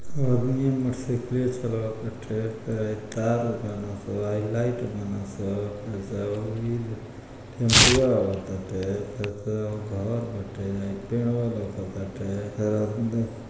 अदमीया मोटरसाइकिल चलवाताटे फेर हाई तार बनसा लाइट बनसा फेर से हाई टेम्पुआं आवताटे फेर से हाउ घर बाटे हाई पेड़वा लउकतटे